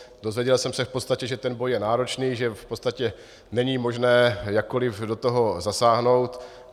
Dozvěděl jsem se v podstatě, že ten boj je náročný, že v podstatě není možné jakkoli do toho zasáhnout.